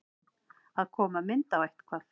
Að koma mynd á eitthvað